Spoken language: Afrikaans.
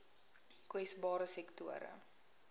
kwesbare sektore